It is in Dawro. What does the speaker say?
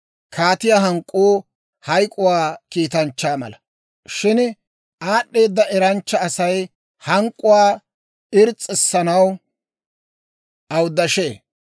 Kaatiyaa hank'k'uu hayk'k'uwaa kiitanchchaa mala; shin aad'd'eeda eranchcha Asay hank'k'uwaa irs's'issanaw awuddashee.